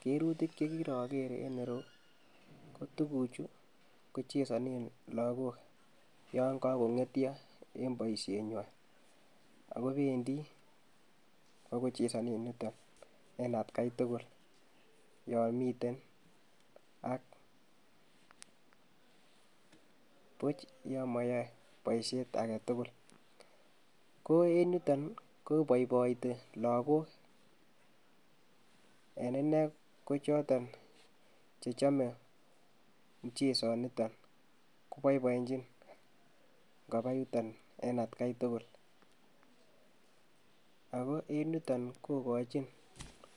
Kirutik chekiroger eng yero ko tukuchu ko chesanen lakok yan kakong'etio eng boisienywa. Ako bendi koba kochesanen yuto en atkai tugul yon miten ak buch ya mayae boisiet age tukul. Ko en yuton ,ko iboiboitei lakok en ine ko choton che chomei mchesoniton koboibonjin ngaba yuton en atkai tugul. Aku eng yuton kokochi